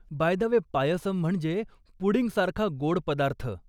Bye the way, payasam म्हणजे पुडिंगसारखा गोड पदार्थ.